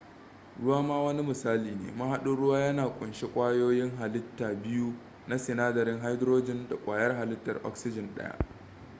ruwa ma wani misali ne mahadin ruwa ya kunshi ƙwayoyin halitta biyu na sinadarin hydrogen da ƙwayar halittar oxygen daya